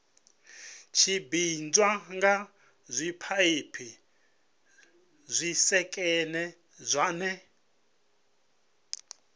tshimbidzwa nga zwipaipi zwisekene zwine